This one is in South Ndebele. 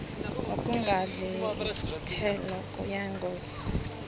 ukungadli iinthelo kuyingozi